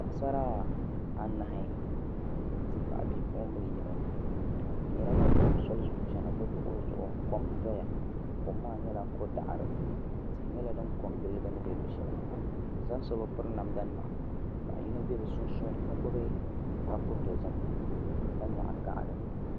Paɣasara anahi n ti pahi bipuɣimbila yino bɛ nyɛla ban tam soli zuɣu chena bɛ luɣuli zuɣu kom n doya kom maa nyɛla kodaɣari tihi nyɛla din kongili bini bɛ luɣusheli maa bɛ zaa so bi piri namda nima paɣa yino be bɛ sunsuuni ka gbibi kapu dozim ka nyaɣi gaɣali.